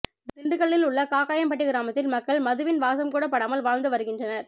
திண்டுக்கல்லில் உள்ள காக்காயன்பட்டி கிராமத்தில் மக்கள் மதுவின் வாசம் கூட படாமல் வாழ்ந்து வருகின்றனர்